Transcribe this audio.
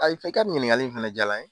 A' i ka ɲininkali in fana diyala n ye.